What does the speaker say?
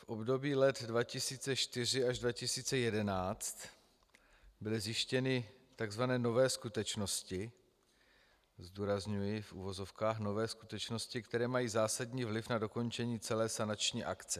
V období let 2004 až 2011 byly zjištěny tzv. nové skutečnosti - zdůrazňuji v uvozovkách nové skutečnosti -, které mají zásadní vliv na dokončení celé sanační akce.